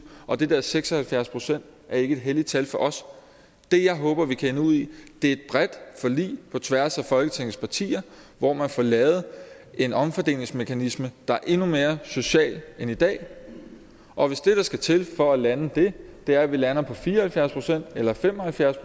og de der seks og halvfjerds procent er ikke et helligt tal for os det jeg håber vi kan ende ud i er et bredt forlig på tværs af folketingets partier hvor man får lavet en omfordelingsmekanisme der er endnu mere social end i dag og hvis det der skal til for at lande det er at vi lander på fire og halvfjerds procent eller fem og halvfjerds